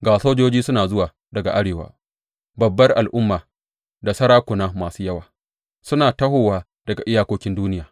Ga sojoji suna zuwa daga arewa; babbar al’umma da sarakuna masu yawa suna tahowa daga iyakokin duniya.